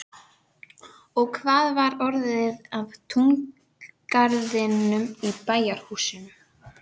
Og hvað var orðið af túngarðinum og bæjarhúsunum?